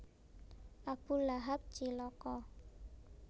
Abu Lahab Cilaka